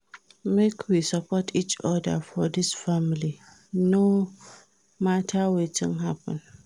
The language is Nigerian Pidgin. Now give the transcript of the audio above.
Make we support each oda for dis family, no mata wetin happen.